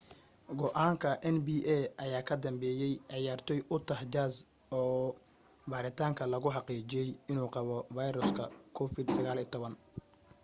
go'aanka nba ayaa ka dambeeyey ciyaartooy utah jazz oo baaritaanka lagu xaqiijiyay inuu qabo viruska covid-19